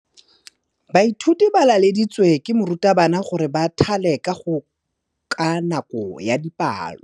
Baithuti ba laeditswe ke morutabana gore ba thale kagô ka nako ya dipalô.